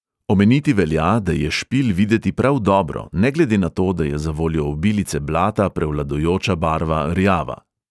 Omeniti velja, da je špil videti prav dobro, ne glede na to, da je zavoljo obilice blata prevladujoča barva rjava.